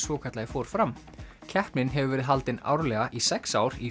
svokallaði fór fram keppnin hefur verið haldin árlega í sex ár í